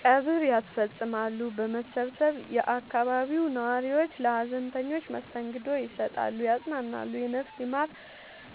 ቀብር ያስፈፅማሉ በመሰባሰብ የአካባቢው ነዋሪዎች ለሀዘንተኞች መስተንግዶ ይሰጣሉ ያፅናናሉ የነፍስ ይማር